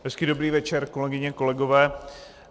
Hezký dobrý večer, kolegyně, kolegové.